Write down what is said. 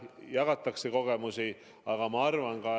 Jah, jagatakse kogemusi.